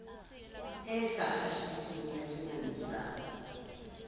e sa kgahliseng ya dingangisano